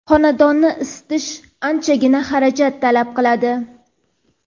xonadonni isitish anchagina xarajat talab qiladi.